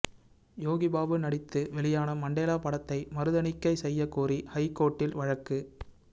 யோகிபாபு நடித்து வெளியான மண்டேலா படத்தை மறுதணிக்கை செய்ய கோரி ஐகோர்ட்டில் வழக்கு